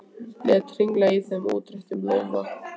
Lét hringla í þeim í útréttum lófa.